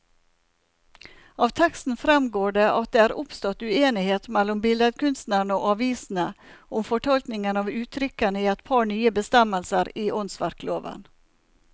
Av teksten fremgår det at det er oppstått uenighet mellom billedkunstnerne og avisene om fortolkningen av uttrykkene i et par nye bestemmelser i åndsverkloven.